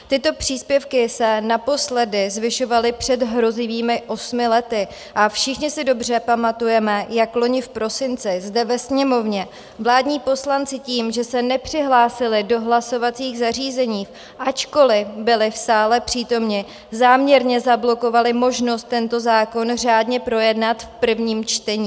Tyto příspěvky se naposledy zvyšovaly před hrozivými osmi lety a všichni si dobře pamatujeme, jak loni v prosinci zde ve Sněmovně vládní poslanci tím, že se nepřihlásili do hlasovacích zařízení, ačkoliv byli v sále přítomni, záměrně zablokovali možnost tento zákon řádně projednat v prvním čtení.